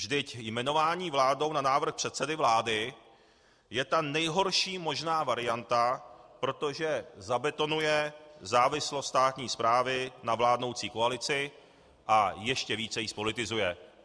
Vždyť jmenování vládou na návrh předsedy vlády je ta nejhorší možná varianta, protože zabetonuje závislost státní správy na vládnoucí koalici a ještě více ji zpolitizuje.